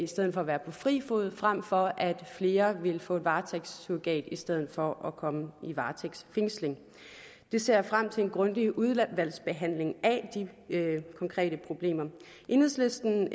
stedet for at være på fri fod frem for at flere vil få varetægtssurrogat i stedet for at komme i varetægtsfængsel og jeg ser frem til en grundig udvalgsbehandling af de konkrete problemer enhedslisten